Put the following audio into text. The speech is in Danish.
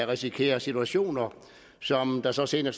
risikerer situationer som der så senere